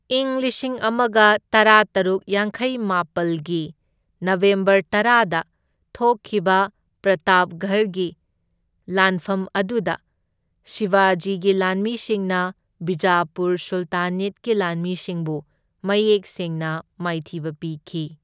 ꯏꯪ ꯂꯤꯁꯤꯡ ꯑꯃꯒ ꯇꯔꯥꯇꯔꯨꯛ ꯌꯥꯡꯈꯩ ꯃꯥꯄꯜꯒꯤ ꯅꯕꯦꯝꯕꯔ ꯇꯔꯥꯗ ꯊꯣꯛꯈꯤꯕ ꯄ꯭ꯔꯇꯥꯞꯒꯔꯒꯤ ꯂꯥꯟꯐꯝ ꯑꯗꯨꯗ ꯁꯤꯕꯥꯖꯤꯒꯤ ꯂꯥꯟꯃꯤꯁꯤꯡꯅ ꯕꯤꯖꯥꯄꯨꯔ ꯁꯨꯜꯇꯥꯅꯦꯠꯀꯤ ꯂꯥꯟꯃꯤꯁꯤꯡꯕꯨ ꯃꯌꯦꯛ ꯁꯦꯡꯅ ꯃꯥꯏꯊꯤꯕ ꯄꯤꯈꯤ꯫